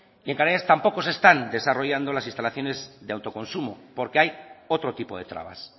y en canarias tampoco se están desarrollando las instalaciones de autoconsumo porque hay otro tipo de trabas